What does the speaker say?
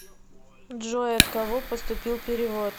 джой от кого поступил перевод